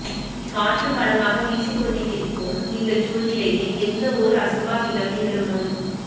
காற்றும் பலமாக விசிக்கொண்டிருக்கிற்கும் இந்த சூழ்நிலையில் எந்த ஓர் அசம்பாவிதம் நிகழும்முன்